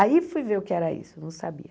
Aí fui ver o que era isso, não sabia.